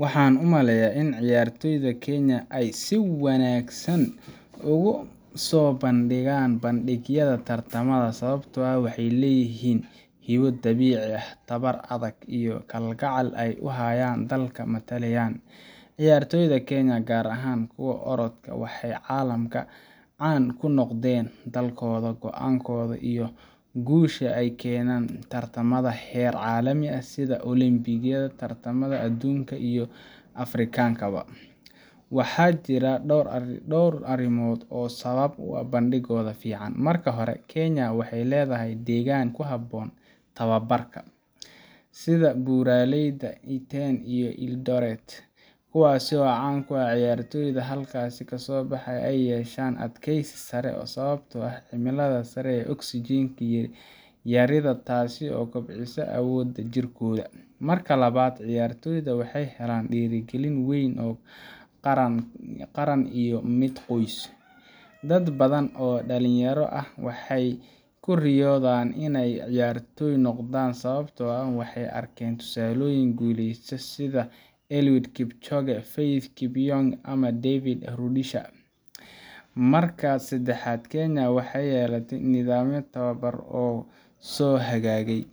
Waxaan u maleynayaa in ciyaartoyda Kenya ay si wanaagsan ugu soo bandhigaan bandhigyada tartamada, sababtoo ah waxay leeyihiin hibo dabiici ah, tababar adag, iyo kalgacal ay u hayaan dalka ay metelayaan. Ciyaartoyda Kenya gaar ahaan kuwa orodka, waxay caalamka caan ku noqdeen daalkooda, go'aankooda iyo guulaha ay ka keenaan tartamada heer caalami ah sida Olombikada, tartamada adduunka iyo kuwa Afrikaanka ah. Waxaa jira dhowr arrimood oo sabab u ah bandhiggooda fiican: – Marka hore, Kenya waxay leedahay deegaan ku habboon tababarka, sida buuraleyda Iten iyo Eldoret, kuwaas oo caan ku ah in ciyaartoyda halkaa ka soo baxa ay yeeshaan adkeysi sare sababtoo ah cimilada sare iyo oksijiin yarida taas oo kobcisa awoodda jirkooda. – Marka labaad, ciyaartoyda waxay helaan dhiirrigelin weyn oo qaran iyo mid qoys. Dad badan oo dhalinyaro ah waxay ku riyoodaan inay ciyaartooy noqdaan, sababtoo ah waxay arkeen tusaalooyin guuleysta sida Eliud Kipchoge, Faith Kipyegon, ama David Rudisha. – Marka saddexaad, Kenya waxay yeelatay nidaamyo tababar oo soo hagaagay,